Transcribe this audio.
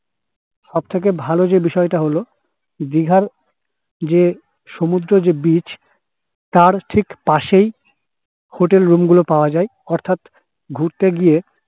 সব থেকে ভালো যে বিষয় টা হলো দিঘার যে সমুদ্র যে beach তার ঠিক পাশেই hotel room গুলো পাওয়া যাই অর্থাৎ ঘুরতে গিয়ে